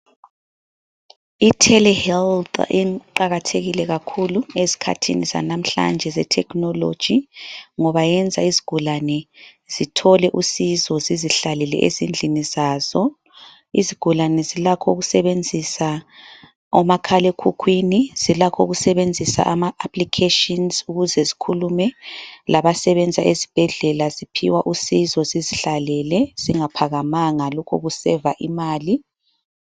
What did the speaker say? Itelehealth iqakathekile kakhulu ezikhathini zanamhlanje zethekhinoloji ngoba yenza izigulane zithole usizo zizihlalele ezindlini zazo . Izigulane zilakho ukusebenzisa omakhalekhukhwini, zilakho ukusebenzisa amaapplications ukuze zikhulume labasebenza ezibhedlela ziphiwa usizo zizihlalele zingaphakamanga, lokhu kusaver imali.